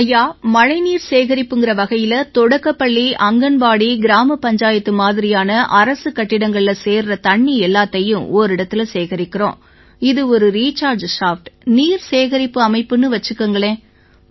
ஐயா மழைநீர் சேகரிப்புங்கற வகையில தொடக்கப்பள்ளி ஆங்கன்வாடி கிராமப்பஞ்சாயத்து மாதிரியான அரசுக் கட்டிடங்கள்ல சேருற தண்ணி எல்லாத்தையும் ஓரிடத்தில சேகரிக்கறோம் இது ஒரு ரிச்சார்ஜ் ஷாஃப்ட் நீர்சேகரிப்பு அமைப்புன்னு வச்சுக்குங்களேன்